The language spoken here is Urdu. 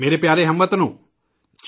میرے پیارے ہم وطنو ،